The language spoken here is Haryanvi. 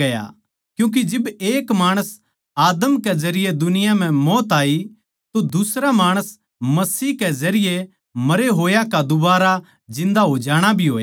क्यूँके जिब एक माणस आदम कै जरिये दुनिया म्ह मौत आई तो दुसरा माणस मसीह ए कै जरिये मरे होया का दोबारा जिन्दा हो जाणा भी होया